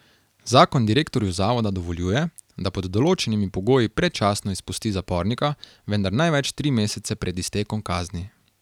Zakon direktorju zavoda dovoljuje, da pod določenimi pogoji predčasno izpusti zapornika, vendar največ tri mesece pred iztekom kazni.